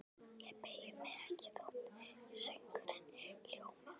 Ég beygi mig ekki þótt söngurinn hljómi: